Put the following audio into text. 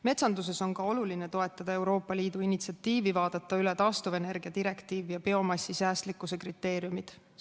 Metsanduses on oluline toetada Euroopa Liidu initsiatiivi vaadata üle taastuvenergia direktiiv ja biomassi säästlikkuse kriteeriumid.